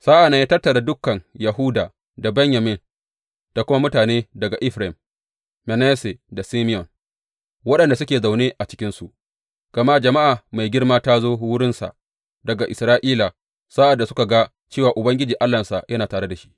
Sa’an nan ya tattara dukan Yahuda da Benyamin da kuma mutane daga Efraim, Manasse da Simeyon waɗanda suke zaune a cikinsu, gama jama’a mai girma ta zo wurinsa daga Isra’ila sa’ad da suka ga cewa Ubangiji Allahnsa yana tare da shi.